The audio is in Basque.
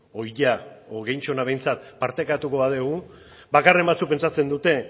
edo gehienak behintzat partekatuko badugu bakarren batzuk pentsatzen